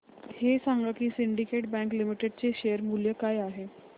हे सांगा की सिंडीकेट बँक लिमिटेड चे शेअर मूल्य काय आहे